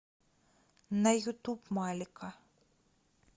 на ютуб малика